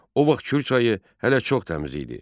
O vaxt Kür çayı hələ çox təmiz idi.